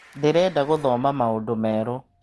Ndĩreda gũthoma maũndũ merũ.